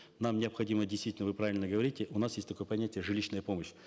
нам необходимо действительно вы правильно говорите у нас есть такое понятие жилищная помощь